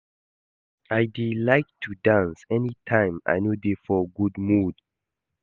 I dey like to dance anytime I no dey for good mood